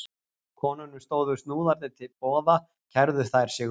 Konunum stóðu snúðarnir til boða kærðu þær sig um.